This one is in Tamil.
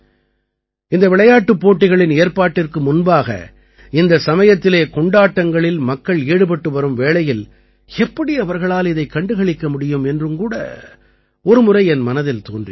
இந்த விளையாட்டுப் போட்டிகளின் ஏற்பாட்டிற்கு முன்பாக இந்த சமயத்திலே கொண்டாட்டங்களில் மக்கள் ஈடுபட்டு வரும் வேளையில் எப்படி அவர்களால் இதைக் கண்டுகளிக்க முடியும் என்றும் கூட ஒரு முறை என் மனதில் தோன்றியது